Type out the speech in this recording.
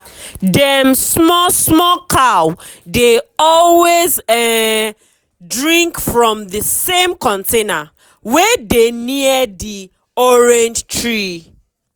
dem small small cow dey always um drink from from the same container wey dey near the orange tree.